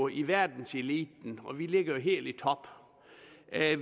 i verdenseliten og at vi ligger helt i top